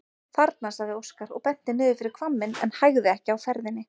Þarna, sagði Óskar og benti niður fyrir hvamminn en hægði ekki á ferðinni.